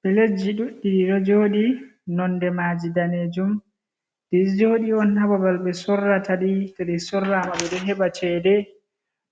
Pulejji ɗuɗɗi ɗi ɗo jooɗi nonde maji daneejum. Ɗi ɗo jooɗi on haa babal ɓe sorrata ɗi ,to ɗi sorrama ɓe ɗo heɓa ceede